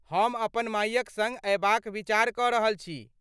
हम अपन मायक सङ्ग अयबाक विचार कऽ रहल छी।